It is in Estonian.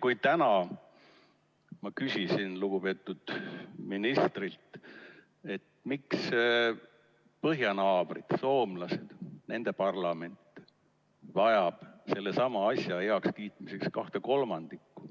Kui ma täna küsisin lugupeetud ministrilt, miks põhjanaabrid, soomlased, nende parlament vajab sellesama asja heakskiitmiseks kahte kolmandikku